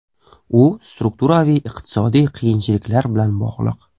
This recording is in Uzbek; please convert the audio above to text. U strukturaviy iqtisodiy qiyinchiliklar bilan bog‘liq.